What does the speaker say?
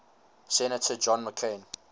senator john mccain